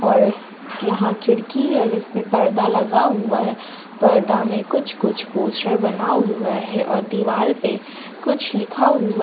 और यहां खिड़की है जिसपे पर्दा लगा हुआ है पर्दा में कुछ कुछ पोस्टर बना हुआ है और दीवाल पे कुछ लिखा हुआ --